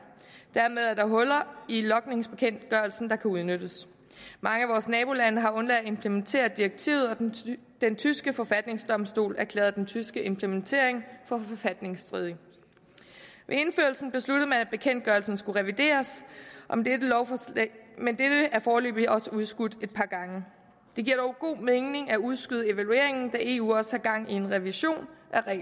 dermed er der huller i logningsbekendtgørelsen der kan udnyttes mange af vores nabolande har undladt at implementere direktivet og den tyske forfatningsdomstol har erklæret den tyske implementering for forfatningsstridig ved indførelsen besluttede man at bekendtgørelsen skulle revideres men dette er foreløbig også udskudt et par gange det giver dog god mening at udskyde evalueringen da eu også har gang i en revision